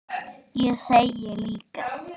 Ég þegi líka.